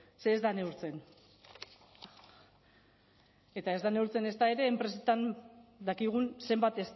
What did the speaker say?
ze ez da neurtzen eta ez da neurtzen ezta ere enpresetan dakigun zenbat